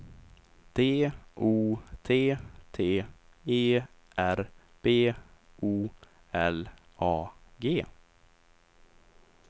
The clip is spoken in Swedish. D O T T E R B O L A G